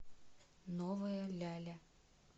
новая ляля